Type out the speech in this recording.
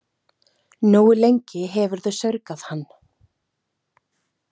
Nógu lengi hefurðu saurgað hann.